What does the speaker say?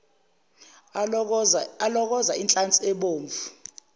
alokoze inhlansi ebomvu